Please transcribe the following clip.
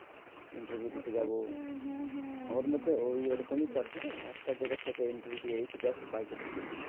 Interview দিতে যাব, আচ্ছা আচ্ছা হ্যাঁ হ্যাঁ, আমাদের জন্য ওইরকমই কথা একটা জায়গা থেকে interview দিয়ে এই তো just বাড়িতে ঢুকলাম।